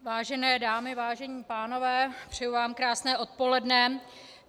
Vážené dámy, vážení pánové, přeji vám krásné odpoledne.